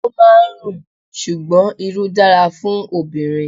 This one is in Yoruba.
O máa ń rùn, ṣùgbọ́n Irú dára fún obìnrin.